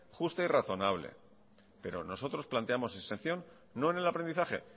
justa y razonable pero nosotros planteamos exención no en el aprendizaje